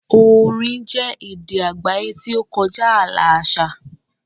Orin jẹ́ èdè àgbáyé tí ó kọjá ààlà àṣà.